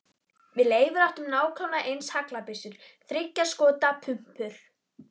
Við Leifur áttum nákvæmlega eins haglabyssur, þriggja skota pumpur.